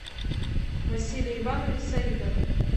василий иванович саидов